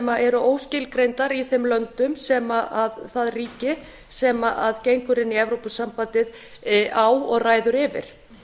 eru óskilgreindar í þeim löndum sem það ríki sem gengur inn í evrópusambandið á og ræður yfir